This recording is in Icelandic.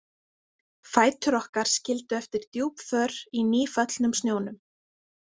Fætur okkar skildu eftir djúp för í nýföllnum snjónum.